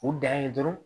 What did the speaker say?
U dan ye dɔrɔn